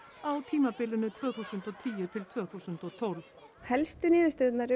á tímabilinu tvö þúsund og tíu til tvö þúsund og tólf helstu niðurstöðurnar eru